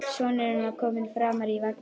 Sonurinn var kominn framar í vagninn.